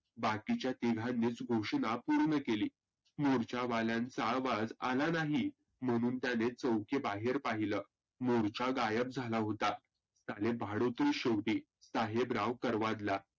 बाकीच्या तीघांनीच घोषना पुर्ण केली. मोर्चा वाल्यांचा आवाज आला नाही. म्हणून त्याने चौकी बाहेर पाहिलं. मोर्चा गायब झाला होता. सारे भाडोत्रीच शेवटी, साहेबराव करवाडला.